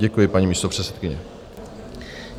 Děkuji, paní místopředsedkyně.